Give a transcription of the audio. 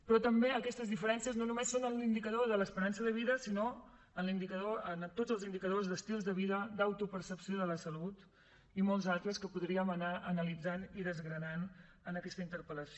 però també aquestes diferències no només són en l’indicador de l’esperança de vida sinó en tots els indicadors d’estils de vida d’autopercepció de la salut i en molts altres que podríem anar analitzant i desgranant en aquesta interpel·lació